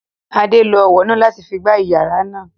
Adé lo ọwọ náà láti fi gbá iyàrá náà